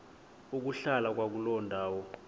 ukuhlala kwakuloo ndawo